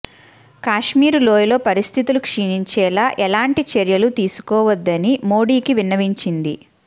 కాశ్మీరు లోయలో పరిస్థితులు క్షీణించేలా ఎలాంటి చర్యలు తీసుకోవద్దని మోడీకి విన్నవించింది